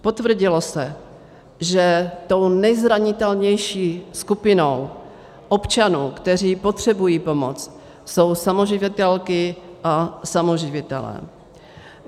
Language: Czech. Potvrdilo se, že tou nezranitelnější skupinou občanů, kteří potřebují pomoc, jsou samoživitelky a samoživitelé.